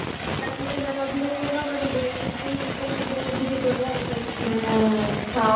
ତାକୁ ସେମାନେ ଅଧିକ follow କରିବେ social media କୁ ଅଧିକ ବ୍ୟବହାର କରିକି